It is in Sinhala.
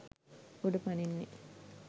උඩ පනින්නේ?